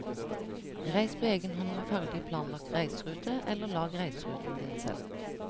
Reis på egen hånd med ferdig planlagt reiserute eller lag reiseruten din selv.